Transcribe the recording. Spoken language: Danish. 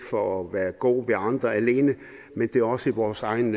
for at være god ved andre men det er også i vores egen